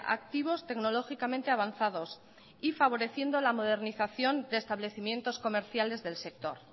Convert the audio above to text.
activos tecnológicamente avanzados y favoreciendo la modernización de establecimientos comerciales del sector